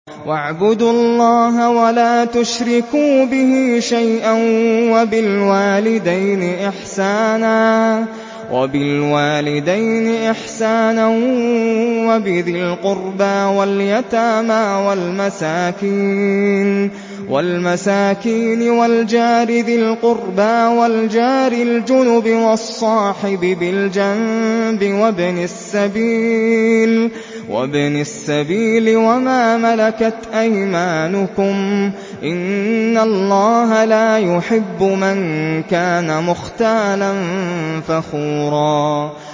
۞ وَاعْبُدُوا اللَّهَ وَلَا تُشْرِكُوا بِهِ شَيْئًا ۖ وَبِالْوَالِدَيْنِ إِحْسَانًا وَبِذِي الْقُرْبَىٰ وَالْيَتَامَىٰ وَالْمَسَاكِينِ وَالْجَارِ ذِي الْقُرْبَىٰ وَالْجَارِ الْجُنُبِ وَالصَّاحِبِ بِالْجَنبِ وَابْنِ السَّبِيلِ وَمَا مَلَكَتْ أَيْمَانُكُمْ ۗ إِنَّ اللَّهَ لَا يُحِبُّ مَن كَانَ مُخْتَالًا فَخُورًا